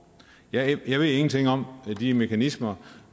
jeg ved ingenting om de mekanismer